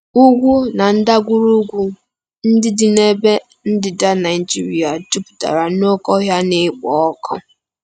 Ugwu na ndagwurugwu ndị dị n'ebe ndịda Nigeria jupụtara n'oké ọhịa na-ekpo ọkụ.